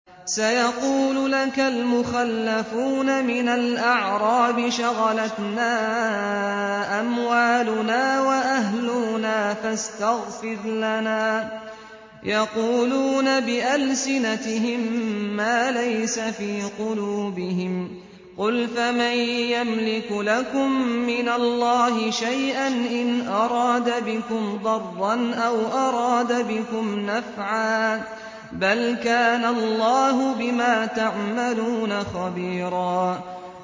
سَيَقُولُ لَكَ الْمُخَلَّفُونَ مِنَ الْأَعْرَابِ شَغَلَتْنَا أَمْوَالُنَا وَأَهْلُونَا فَاسْتَغْفِرْ لَنَا ۚ يَقُولُونَ بِأَلْسِنَتِهِم مَّا لَيْسَ فِي قُلُوبِهِمْ ۚ قُلْ فَمَن يَمْلِكُ لَكُم مِّنَ اللَّهِ شَيْئًا إِنْ أَرَادَ بِكُمْ ضَرًّا أَوْ أَرَادَ بِكُمْ نَفْعًا ۚ بَلْ كَانَ اللَّهُ بِمَا تَعْمَلُونَ خَبِيرًا